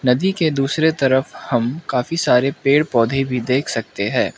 नदी के दूसरे तरफ हम काफी सारे पेड़ पौधे भी देख सकते है।